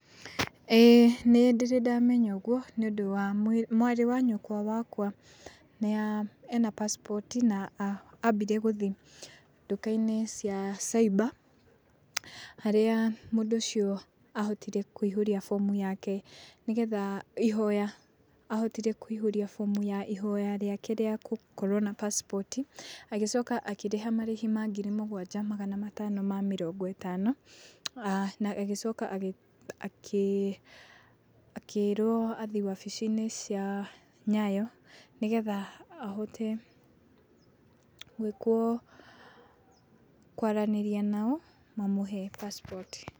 Ĩĩĩĩ nĩ ndĩrĩ ndamenya uguũ nĩ ũndũ wa mwarĩ wa nyũkwa wakwa nĩe ena passport ambire gũthiĩ ndukainĩ cia cyber, harĩa mũndũ ũcio ahotire kũihũria bomu yake nĩgetha ihoya ahotire kũihũria bomu ya ihoya rĩake rĩa gũkorwo na passport ,agicoka akĩrĩha marĩhi ma ngiri mũgwanja magana matano ma mĩrongo ĩtano, aa na agĩcoka agĩ akĩ akĩrwo athiĩ wabici-inĩ cia Nyayo nĩgetha ahote gwĩkwo kwaranĩria nao mamũhe passport.